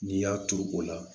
N'i y'a turu o la